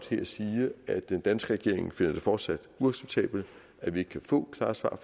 her sige at den danske regering finder det fortsat uacceptabelt at vi ikke kan få klare svar